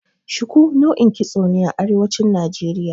Shiku nau'in kitso ne a Arewacin Najeriya.